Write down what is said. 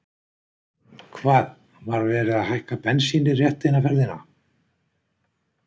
Hvað, var verið að hækka bensínið rétt eina ferðina?